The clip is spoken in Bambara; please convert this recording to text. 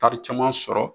Taari caman sɔrɔ